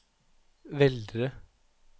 Veldre